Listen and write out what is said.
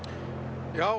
já